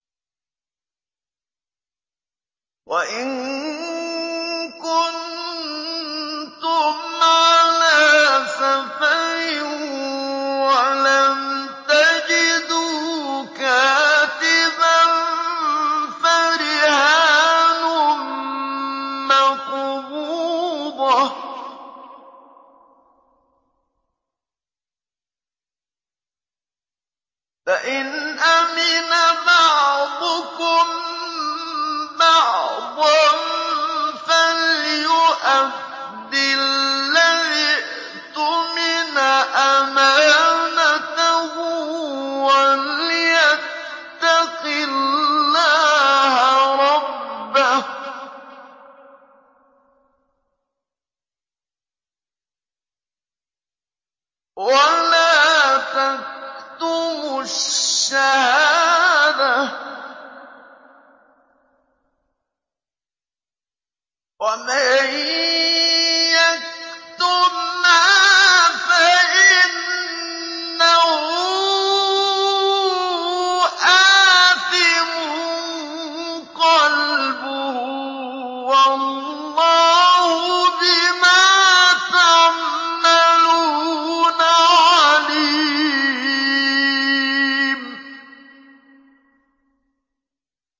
۞ وَإِن كُنتُمْ عَلَىٰ سَفَرٍ وَلَمْ تَجِدُوا كَاتِبًا فَرِهَانٌ مَّقْبُوضَةٌ ۖ فَإِنْ أَمِنَ بَعْضُكُم بَعْضًا فَلْيُؤَدِّ الَّذِي اؤْتُمِنَ أَمَانَتَهُ وَلْيَتَّقِ اللَّهَ رَبَّهُ ۗ وَلَا تَكْتُمُوا الشَّهَادَةَ ۚ وَمَن يَكْتُمْهَا فَإِنَّهُ آثِمٌ قَلْبُهُ ۗ وَاللَّهُ بِمَا تَعْمَلُونَ عَلِيمٌ